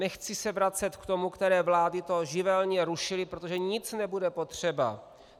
Nechci se vracet k tomu, které vlády to živelně rušily - protože nic nebude potřeba!